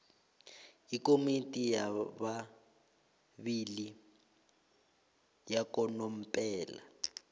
ikomiti yababili yakanomphela